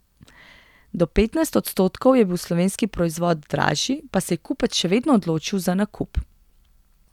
Do petnajst odstotkov je bil slovenski proizvod dražji, pa se je kupec še vedno odločil za nakup.